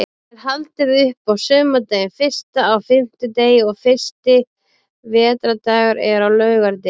Enn er haldið upp á sumardaginn fyrsta á fimmtudegi og fyrsti vetrardagur er á laugardegi.